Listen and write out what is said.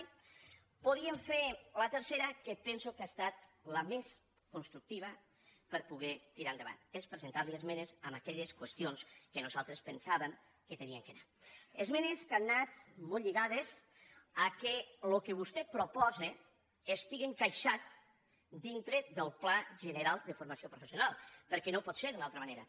o podríem fer la tercera que penso que ha estat la més constructiva per poder tirar endavant és presentar·li esmenes en aquelles qüestions que nosaltres pensàvem que hi havien d’anar esmenes que han anat molt lli·gades al fet que el que vostè proposa estiga encaixat dintre del pla general de formació professional perquè no pot ser d’una altra manera